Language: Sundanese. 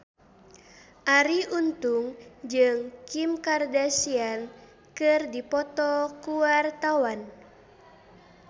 Arie Untung jeung Kim Kardashian keur dipoto ku wartawan